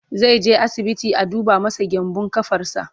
zaije asibiti a duba masa gyanbun ƙafarsa